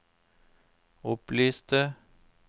opplyste